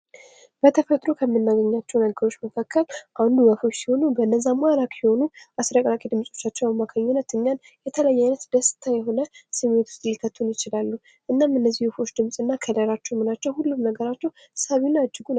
በተፈጥሮ ከምናገኛቸው ነገሮች መካከል አንዱ ወፎች ሲሆኑ ፤ በነዛ ማራኪ የሆኑ አስረቅራቂ ድምጻቸው አማካኝነት እኛን የተለያየ አይነት ደስታ የሆነ ስሜት ውስጥ ሊከቱን ይችላሉ። እናም እነዚህ ድምጽ እና ከለራቸው ምናቸው ሁሉ ነገራቸው ሳቢና እጅጉን ማራኪ ነው።